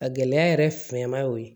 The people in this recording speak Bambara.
A gɛlɛya yɛrɛ fɛnman y'o ye